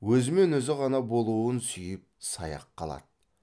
өзімен өзі ғана болуын сүйіп саяқ қалады